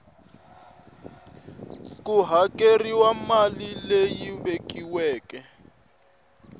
ku hakeriwile mali leyi vekiweke